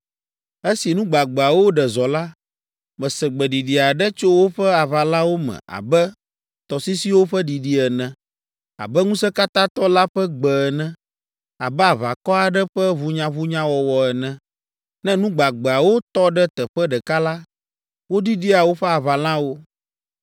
Esi nu gbagbeawo ɖe zɔ la, mese gbeɖiɖi aɖe tso woƒe aʋalawo me abe tɔsisiwo ƒe ɖiɖi ene, abe Ŋusẽkatãtɔ la ƒe gbe ene, abe aʋakɔ aɖe ƒe ʋunyaʋunyawɔwɔ ene. Ne nu gbagbeawo tɔ ɖe teƒe ɖeka la, woɖiɖia woƒe aʋalawo.